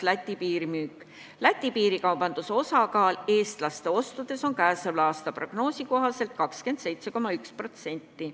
Läti piirikaubanduse üldine osakaal eestlaste ostudes on käesoleva aasta prognoosi kohaselt 27,1%.